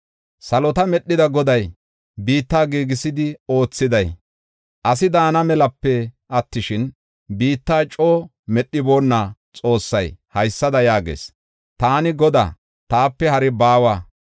Salota medhida Goday, biitta giigisidi oothiday, asi daana melape attishin, biitta coo medhiboonna Xoossay haysada yaagees: taani Godaa; taape hari baawa.